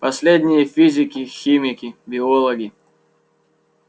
последние физики химики биологи